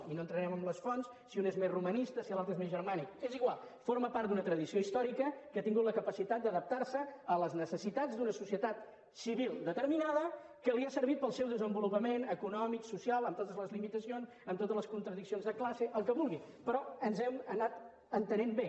i no entrarem en les fonts si un és més romanista si l’altre és més germànic és igual forma part d’una tradició històrica que ha tingut la capacitat d’adaptar se a les necessitats d’una societat civil determinada que li ha servit per al seu desenvolupament econòmic social amb totes les limitacions amb totes les contradiccions de classe el que vulgui però ens hem anat entenent bé